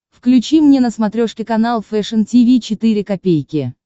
включи мне на смотрешке канал фэшн ти ви четыре ка